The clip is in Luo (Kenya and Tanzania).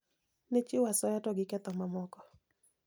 Ne chiwo asoya to gi ketho mamoko